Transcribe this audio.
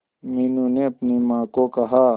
मीनू ने अपनी मां को कहा